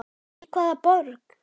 Í hvaða borg?